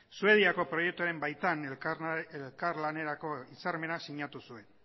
suediako proiektuaren baitan elkarlanerako hitzarmena sinatu zuen